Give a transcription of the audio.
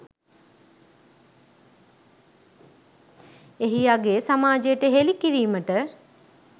එහි අගය සමාජයට හෙළි කිරීමට